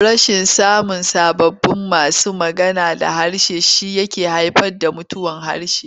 Rashin samun sababbin masu magana da harshe shi yake haifar da mutuwar harshe.